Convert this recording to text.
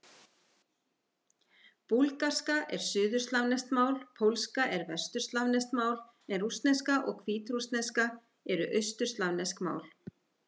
Búlgarska er suðurslavneskt mál, pólska er vesturslavneskt mál en rússneska og hvítrússneska eru austurslavnesk mál.